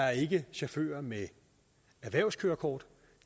er ikke chauffører med erhvervskørekort